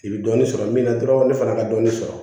I bɛ dɔɔnin sɔrɔ min na dɔrɔn ne fana ka dɔnni sɔrɔ